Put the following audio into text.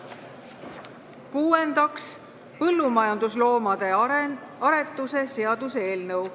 Kuuendaks, põllumajandusloomade aretuse seaduse eelnõu.